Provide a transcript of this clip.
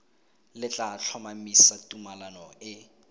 le tla tlhomamisa tumalano e